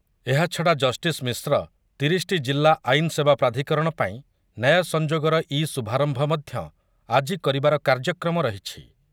ଏହାଛଡ଼ା ଜଷ୍ଟିସ୍ ମିଶ୍ର ତିରିଶି ଟି ଜିଲ୍ଲା ଆଇନ ସେବା ପ୍ରାଧିକରଣ ପାଇଁ ନ୍ୟାୟ ସଂଯୋଗ"ର ଇ ଶୁଭାରମ୍ଭ ମଧ୍ୟ ଆଜି କରିବାର କାର୍ଯ୍ୟକ୍ରମ ରହିଛି ।